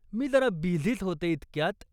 मी जरा बिझीच होते. इतक्यात.